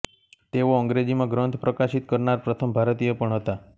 તેઓ અંગ્રેજીમાં ગ્રંથ પ્રકાશિત કરનાર પ્રથમ ભારતીય પણ હતા